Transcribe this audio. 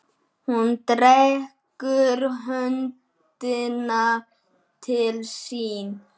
Hún dregur höndina til sín.